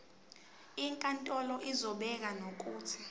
inkantolo izobeka nokuthi